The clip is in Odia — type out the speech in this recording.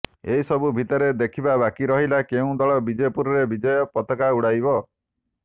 ଏସବୁ ଭିତରେ ଦେଖିବା ବାକି ରହିଲା କେଉଁ ଦଳ ବିଜେପୁରରେ ବିଜୟ ପତାକା ଉଙ୍ଗାଇବ